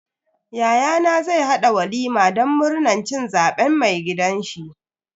Yayana zai haɗa walima don murnan cin zaben mai gidanshi.